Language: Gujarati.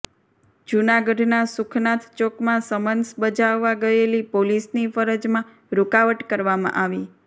જૂનાગઢના સુખનાથ ચોકમાં સમન્સ બજાવવા ગયેલી પોલીસની ફરજમાં રુકાવટ કરવામાં આવી